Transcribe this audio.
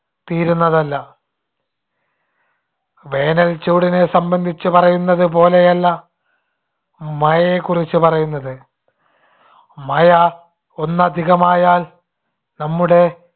തീരുന്നതല്ല. വേനൽച്ചൂടിനെ സംബന്ധിച്ച് പറയുന്നതുപോലെയല്ല മഴയെക്കുറിച്ച് പറയുന്നത്. മഴ ഒന്ന് അധികമായാൽ നമ്മുടെ